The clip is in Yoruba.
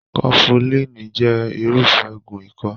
Kọfulíiní jẹ irufẹ òògùn ikọ́.